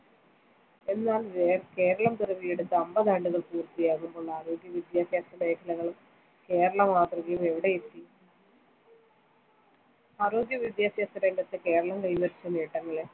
കേരളപിറവിയെടുത്ത് അൻപത് ആണ്ടുകൾ പൂർത്തിയാകുന്ന നാളിൽ ആരോഗ്യവിദ്യാഭ്യാസ മേഖലയും കേരള മാതൃകയും എവിടെയെത്തി, ആരോഗ്യവിദ്യാഭ്യാസ രംഗത്ത്കേരളം കൈവരിച്ച നേട്ടങ്ങളെ